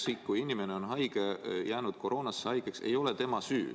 See, et inimene on haige, jäänud koroonasse, ei ole tema süü.